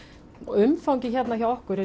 umfangið hérna hjá okkur